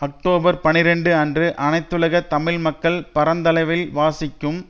October பனிரண்டு அன்று அனைத்துலக தமிழ் மக்கள் பரந்தளவில் வாசிக்கும்